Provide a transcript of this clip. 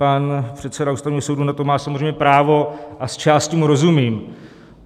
Pan předseda Ústavního soudu na to má samozřejmě právo a zčásti mu rozumím.